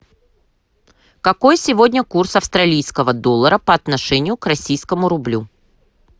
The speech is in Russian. какой сегодня курс австралийского доллара по отношению к российскому рублю